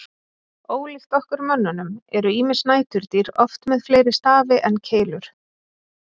Ólíkt okkur mönnunum eru ýmis næturdýr oft með fleiri stafi en keilur.